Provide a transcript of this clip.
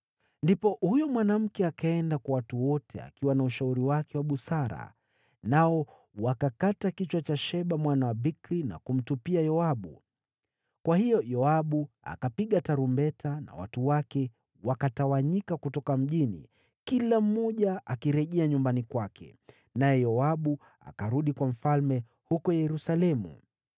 Ndipo huyo mwanamke akaenda kwa watu wote akiwa na ushauri wake wa busara, nao wakakata kichwa cha Sheba mwana wa Bikri na kumtupia Yoabu. Kwa hiyo Yoabu akapiga tarumbeta, na watu wake wakatawanyika kutoka mjini, kila mmoja akirejea nyumbani kwake. Naye Yoabu akarudi kwa mfalme huko Yerusalemu.